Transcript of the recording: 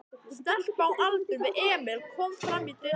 Stelpa á aldur við Emil kom fram í dyrnar.